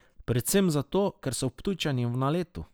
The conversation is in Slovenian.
Predvsem zato, ker so Ptujčani v naletu.